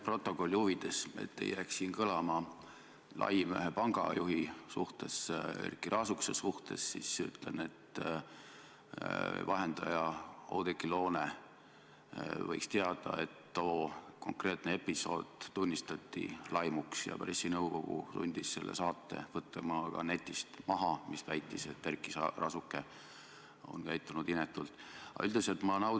Ütlen stenogrammi huvides, et siin ei jääks kõlama laim ühe pangajuhi, Erkki Raasukese kohta, et Oudekki Loone võiks teada, et too konkreetne episood tunnistati laimuks ja et pressinõukogu sundis selle saate, kus väideti, et Erkki Raasuke on käitunud inetult, netist maha võtma.